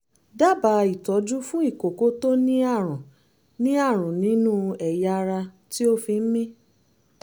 dábàá ìtọ́jú fún ìkókó tó ní àrùn ní àrùn nínú ẹ̀yà ara tí ó fi ń mí